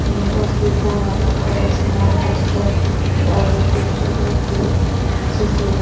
बना कर उसमें अलबेस्टर का इ दे के बहोत ही अच्छे से रह --